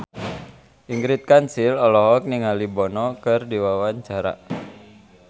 Ingrid Kansil olohok ningali Bono keur diwawancara